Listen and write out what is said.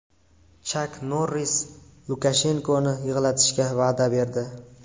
Chak Norris Lukashenkoni yig‘latishga va’da berdi .